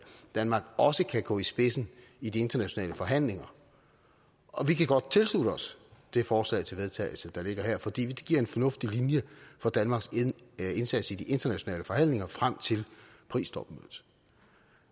danmark også kan gå i spidsen i de internationale forhandlinger og vi kan godt tilslutte os det forslag til vedtagelse der ligger her fordi det giver en fornuftig linje for danmarks indsats i de internationale forhandlinger frem til paristopmødet